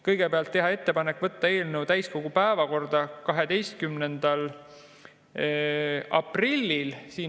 Kõigepealt, teha ettepanek võtta eelnõu täiskogu päevakorda 12. aprillil.